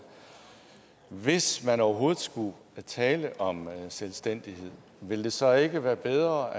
hvis man overhovedet skulle tale om selvstændighed ville det så ikke være bedre